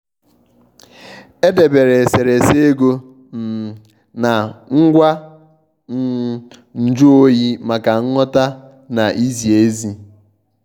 edebèré eserésé égò um na ngwá um nju oyi maka nghọ̀ta na ìzí ezi.